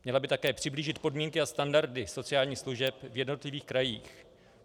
Měla by také přiblížit podmínky a standardy sociálních služeb v jednotlivých krajích.